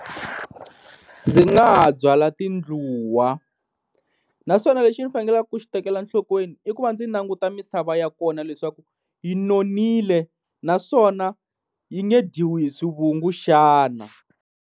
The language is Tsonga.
Ndzi nga ha byala tindluwa, naswona lexi ndzi faneleke ku xi tekela nhlokweni i ku va ndzi languta misava ya kona leswaku yi nonile naswona yi nge dyiwa hi swivungu xana.